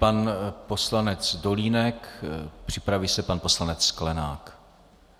Pan poslanec Dolínek, připraví se pan poslanec Sklenák.